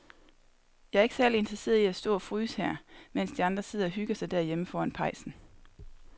Jeg er ikke særlig interesseret i at stå og fryse her, mens de andre sidder og hygger sig derhjemme foran pejsen.